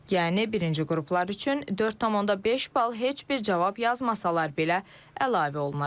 Yəni birinci qruplar üçün 4,5 bal heç bir cavab yazmasalar belə əlavə olunacaq.